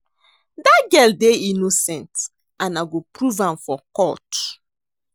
Dat girl dey innocent and I go prove am for court